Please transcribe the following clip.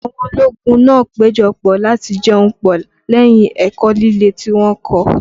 Àwọn ológun náà péjọ pọ̀ láti jẹun pọ̀ lẹ́yìn ẹ̀kọ́ líle tí wọ́n kọ́